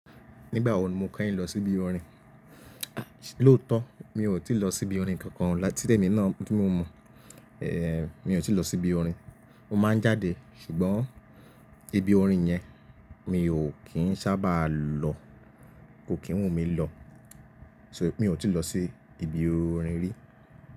Nígbà wo ni mo kẹ́ yìn lọ sí ibi orin? Lóòótọ́ mi ò tí lọ sí ibi orin kankan láti ti ẹmi náà tí mo mọ̀, eh mi ò tí lọ sí ibi orin. Mo máa ń jáde ṣùgbọ́n ibi orin yẹn mi ò kín sábà lọ, kò kí n wù mí lọ. So mi ò tí lọ sí ibi orin rí.